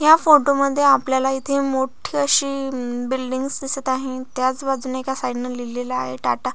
या फोटो मध्ये आपल्याला इथे मोठी अशी बिल्डींगस दिसत आहे त्याच बाजुन एका साईड ने लिहलेल आहे टाटा --